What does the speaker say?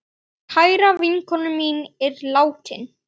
Kær vinkona mín er látin.